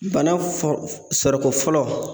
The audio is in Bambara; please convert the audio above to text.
Bana fɔ sɔrɔko fɔlɔ